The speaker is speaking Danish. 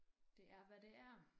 Det er hvad det er